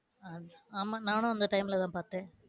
ஆமா நானும் அந்த time ல பாத்தேன்.